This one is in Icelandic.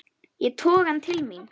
Ég toga hann til mín.